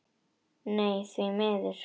Nei, því miður.